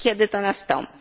Kiedy to nastąpi?